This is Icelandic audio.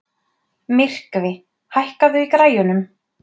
Myrkvi, hækkaðu í græjunum.